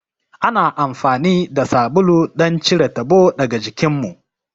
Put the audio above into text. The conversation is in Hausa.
Ana amfani da sabulu don cire tabo daga jikinmu.